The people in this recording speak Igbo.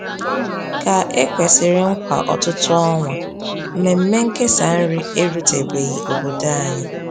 Ka e kwesịrị nkwa ọtụtụ ọnwa, mmemme nkesa nri erutebeghị obodo anyị.